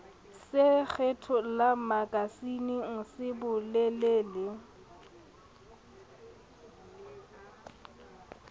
se kgethollang makasineng se bolele